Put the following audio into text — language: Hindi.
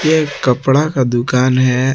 ये एक कपड़ा का दुकान है।